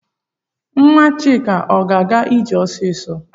Nwa Chika ọ ga-aga ije ọsịsọ?